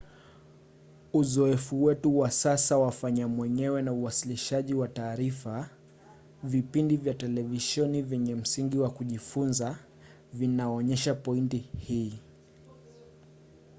uzoefu wetu wa sasa wa fanya-mwenyewe na uwasilishaji wa taarifa vipindi vya televisheni vyenye msingi wa kujifunza vinaonyesha pointi hii